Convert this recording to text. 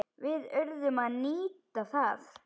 Við urðum að nýta það.